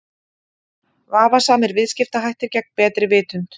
Vafasamir viðskiptahættir gegn betri vitund.